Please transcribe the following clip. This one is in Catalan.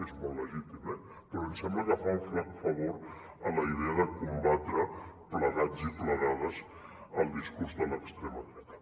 és molt legítim eh però ens sembla que fa un flac favor a la idea de combatre plegats i plegades el discurs de l’extrema dreta